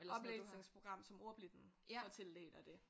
Oplæsningsprogram som ordblinde får tildelt og det